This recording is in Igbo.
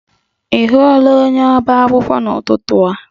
Ị hụla onye ọba akwụkwọ n'ụtụtụ a?